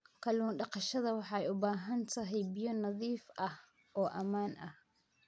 Kallun daqashada waxay u baahan tahay biyo nadiif ah oo ammaan ah.